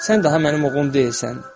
Sən daha mənim oğlum deyilsən.